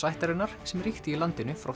ættarinnar sem ríkti í landinu frá